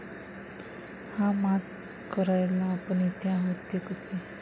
हा माज करायला आपण इथे आहोत, ते कसे?